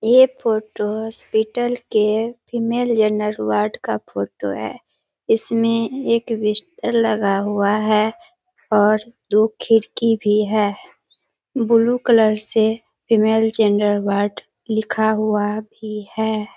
ये photo hospital के female gender ward का फोटो है। इसमें एक बिस्तर लगा हुआ है और दो खिड़की भी है ब्लू कलर से फीमेल जेंडर वार्ड लिखा हुआ भी है ।